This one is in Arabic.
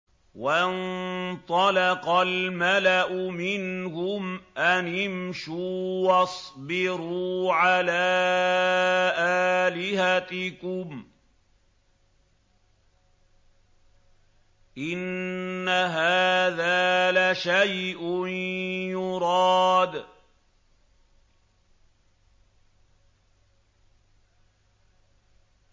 وَانطَلَقَ الْمَلَأُ مِنْهُمْ أَنِ امْشُوا وَاصْبِرُوا عَلَىٰ آلِهَتِكُمْ ۖ إِنَّ هَٰذَا لَشَيْءٌ يُرَادُ